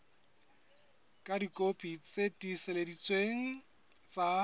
ka dikopi tse tiiseleditsweng tsa